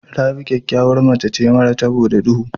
Rabi ƙyakyawar mace ce mara taɓo da ɗuhu.